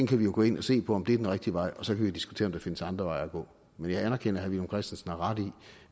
kan jo gå ind og se på om det er den rigtige vej og så kan vi diskutere om der findes andre veje at gå men jeg anerkender at herre villum christensen har ret i at